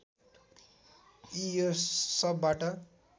कि यो सबबाट